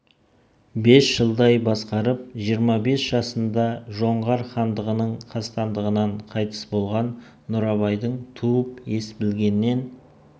бес жылдай басқарып жиырма бес жасында жоңғар хандығының қастандығынан қайтыс болған нұрабайдың туып ес білгеннен